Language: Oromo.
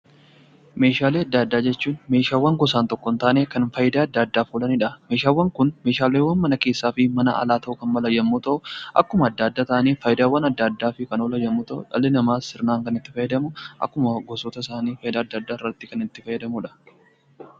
Meeshaalee adda addaa jechuun meeshaalee gosaan tokko ta'anii kan fayidaa adda addaaf oolanidha. Meeshaaleen Kun meeshaalee mana keessaa fi alaa ta'uu danda'a.